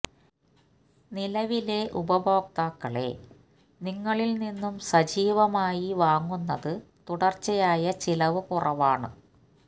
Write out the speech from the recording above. നിലവിലെ ഉപഭോക്താക്കളെ നിങ്ങളിൽ നിന്നും സജീവമായി വാങ്ങുന്നത് തുടർച്ചയായ ചിലവ് കുറവാണ്